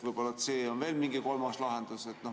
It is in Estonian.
Võib-olla on veel mingi kolmas lahendus c.